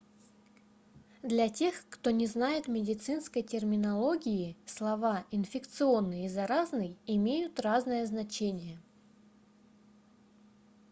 для тех кто не знает медицинской терминологии слова инфекционный и заразный имеют разное значение